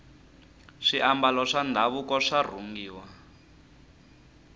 swiambalo swa ndhavuko swa rhungiwa